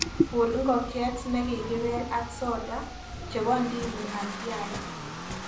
Guur ngokchet negigipel ak sota chebo ndimu asiaee